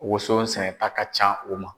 Woson sɛnɛta ka can u ma.